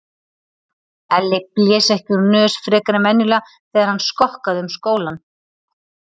Elli blés ekki úr nös frekar en venjulega þegar hann skokkaði um skólann.